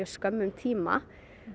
skömmum tíma